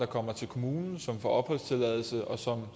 kommer til kommunen får opholdstilladelse og